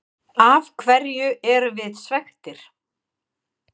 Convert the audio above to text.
Af hverju erum við svekktir?